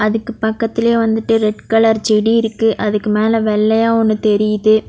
அதுக்கு பக்கத்துலயே வந்துட்டு ரெட் கலர் செடி இருக்கு அதுக்கு மேல வெள்ளையா ஒன்னு தெரியுது.